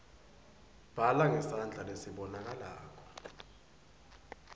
bhala ngesandla lesibonakalako